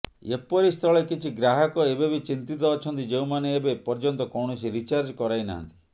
ଏପରିସ୍ଥଳେ କିଛି ଗ୍ରାହକ ଏବେ ବି ଚିନ୍ତିତ ଅଛନ୍ତି ଯେଉଁମାନେ ଏବେ ପର୍ଯ୍ୟନ୍ତ କୌଣସି ରିଚାର୍ଜ କରାଇ ନାହାନ୍ତି